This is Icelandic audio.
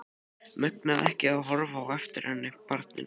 Megnaði ekki að horfa á eftir henni, barninu.